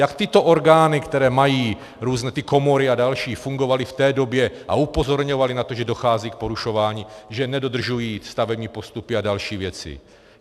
Jak tyto orgány, které mají různé ty komory a další, fungovaly v té době a upozorňovaly na to, že dochází k porušování, že nedodržují stavební postupy a další věci?